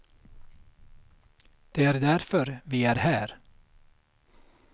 Det är därför vi är här.